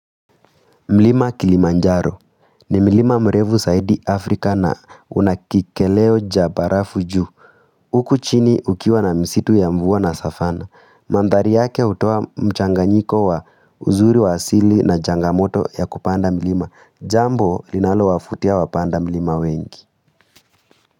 Mlima kilimanjaro, ni mlima mrefu zaidi Afrika na unakikeleo cha barafu juu. Huku chini ukiwa na msitu ya mvua na Safana, mandhari yake hutoa mchanganyiko wa uzuri wa hasili na changamoto ya kupanda mlima, jambo linalo wavutia wapanda mlima wengi.